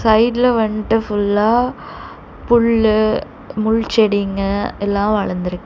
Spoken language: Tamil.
சைடுல வன்ட்டு ஃபுல்லா புல்லு முள் செடிங்க எல்லா வளந்துருக்கு.